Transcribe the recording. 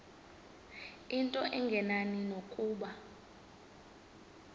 into engenani nokuba